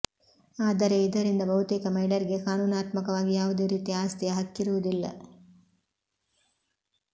ಆದರೆ ಇದರಿಂದ ಬಹುತೇಕ ಮಹಿಳೆಯರಿಗೆ ಕಾನೂನಾತ್ಮಕವಾಗಿ ಯಾವುದೇ ರೀತಿಯ ಆಸ್ತಿಯ ಹಕ್ಕಿರುವುದಿಲ್ಲ